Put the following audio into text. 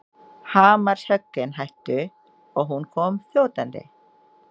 Hamarshöggin hættu og hún kom þjótandi.